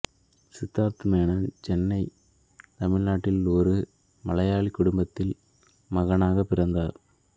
சித்தார்த் மேனன் சென்னை தமிழ்நாட்டில் ஒரு மலையாளி குடும்பத்தில் மகனாக பிறந்தார்